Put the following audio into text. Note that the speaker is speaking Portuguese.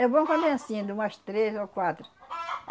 É bom quando é anssim, de umas três ou quatro.